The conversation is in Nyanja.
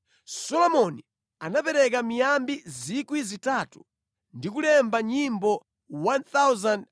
Solomoni anapeka miyambi 3,000 ndi kulemba nyimbo 1,005.